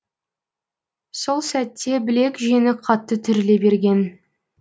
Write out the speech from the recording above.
сол сәтте білек жеңі қатты түріле берген